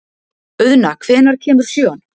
Auðna, hvenær kemur sjöan?